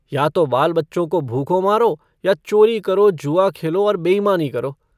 या तो बाल-बच्चों को भूखों मारो या चोरी करो जुआ खेलो और बेईमानी करो।